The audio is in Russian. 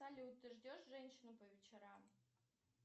салют ты ждешь женщину по вечерам